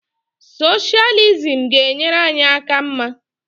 Soshalizim ga-enyere anyị aka mma